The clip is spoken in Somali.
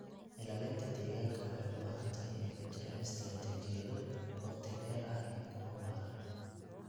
Ilaalinta deegaanka waxay u baahan tahay in ay ku jiraan istaraatiijiyado waqti dheer ah iyo kuwa waara.